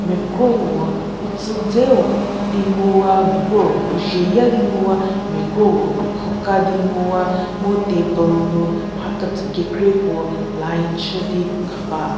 mie krowo utsüzeü di nguwa mie krowo udzhie ya di nguwa mie krowo ükhu ka di nguwa mu table nu mhaketsü kekra ko line shü di khaba.